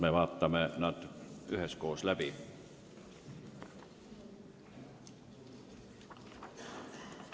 Me vaatame need üheskoos läbi.